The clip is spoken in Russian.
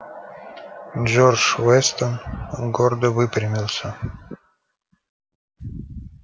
джордж вестон гордо выпрямился